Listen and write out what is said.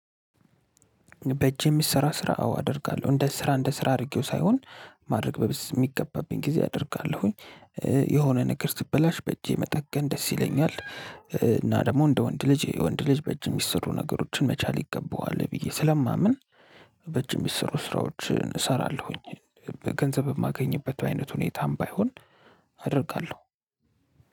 በእጄ የሚሰራ ስራ አዎ አደርጋለሁ እንደ ስራ እንደ ስራ አድርጌው ሳይሆን ማድረግ በሚገባብኝ ጊዜ አደርጋለሁኝ። የሆነ ነገር ስትበላሽ በእጄ መጠገን ደስ ይለኛል እና ደግሞ እንደ ወንድ ልጅ የወንድ ልጅ በእጅ ሚሰሩ ነገሮችን መቻል ይገባዋል ብዬ ስለማምን። በእጅ ሚሰሩ ስራዎችን እሰራለሁኝ። ገንዘብ የማገኝበት አይነት ሁኔታም ባይሆን አደርጋለሁ።